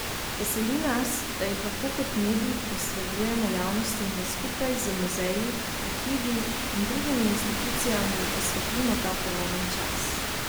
Veseli nas, da jih lahko kot medij posredujemo javnosti in da skupaj z muzeji, arhivi in drugimi institucijami osvetlimo ta prelomen čas.